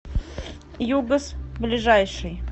югас ближайший